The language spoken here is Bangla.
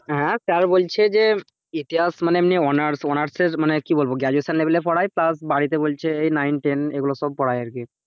sir বলছে যে, ইতিহাস মনে অমনি honours honurs এর মনে কি বলবো graduation level এ পড়ায় plus বাড়িতে বলছে এই nine ten এগুলো সব করায় আরকি,